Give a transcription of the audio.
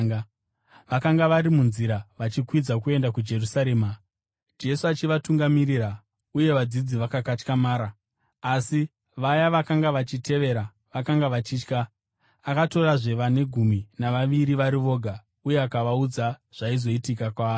Vakanga vari munzira vachikwidza kuenda kuJerusarema, Jesu achivatungamirira, uye vadzidzi vakakatyamara, asi vaya vakanga vachitevera vakanga vachitya. Akatorazve vane gumi navaviri vari voga uye akavaudza zvaizoitika kwaari.